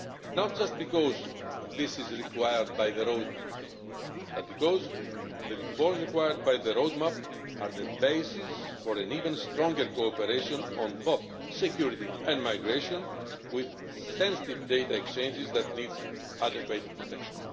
Not just because this is required by the roadmap, but because the reforms required by the roadmap are the basis for an even stronger cooperation on both security and migration, with sensitive data exchanges that need adequate protection.